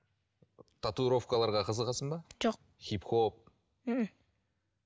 татуировкаларға қызығасың ба жоқ хип хоп мхм